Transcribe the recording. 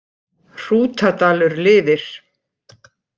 Hrútadalur lifir